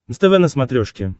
нств на смотрешке